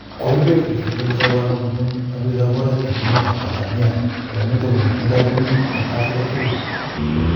koibeet bik tiptemu sobonwekwak kabun nyosutietab oret eng emetab Tanzania ako nito konentindoi kunyiit eng Afrika tugul